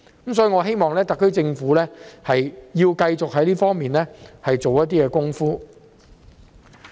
因此，我希望特區政府繼續在這方面下工夫。